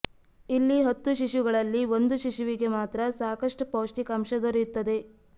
ಇಲ್ಲಿ ಹತ್ತು ಶಿಶುಗಳಲ್ಲಿ ಒಂದು ಶಿಶುವಿಗೆ ಮಾತ್ರ ಸಾಕಷ್ಟು ಪೌಷ್ಟಿಕಾಂಶ ದೊರೆಯುತ್ತದೆ